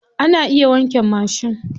Ana iya wanke mashin.